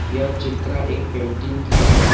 यह चित्रा एक पेंटिंग की है।